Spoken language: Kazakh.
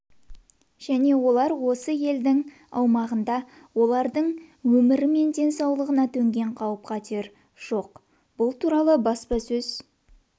және олар осы елдің аумағында олардың өмір мен денсаулығына төнген қатер жоқ бұл туралы баспасөз